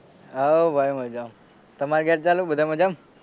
હઉ ભાઈ મજામાં તમાર ઘેર બધા મજામાં